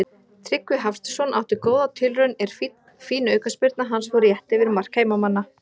Tryggvi Hafsteinsson átti góða tilraun er fín aukaspyrna hans fór rétt yfir mark heimamanna.